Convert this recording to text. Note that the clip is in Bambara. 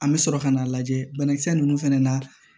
An bɛ sɔrɔ ka n'a lajɛ banakisɛ ninnu fɛnɛ na